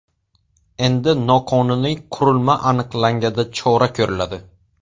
Endi noqonuniy qurilma aniqlanganda chora ko‘riladi.